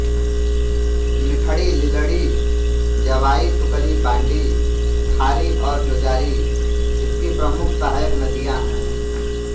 मिठड़ी लीलड़ी जवाई सुकरी बांडी खारी और जोजारी इसकी प्रमुख सहायक नदियाँ है